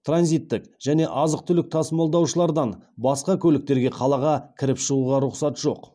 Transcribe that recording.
транзиттік және азық түлік тасымалдаушылардан басқа көліктерге қалаға кіріп шығуға рұқсат жоқ